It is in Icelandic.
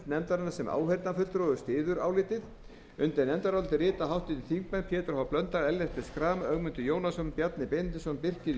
nefndarinnar sem áheyrnarfulltrúi og styður álitið undir nefndarálitið rita háttvirtir þingmenn pétur h blöndal ellert b schram ögmundur jónasson bjarni benediktsson birkir j